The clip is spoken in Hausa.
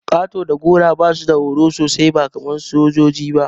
Ƙato da gora basu da horo sosai ba kaman sojoji ba.